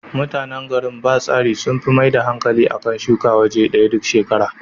Mutanan garin Batsari sun fi maida hankali a kan shuka a waje ɗaya duk shekara.